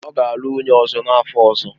Ọ ga-alụ nwunye ọzọ n'afọ ọzọ.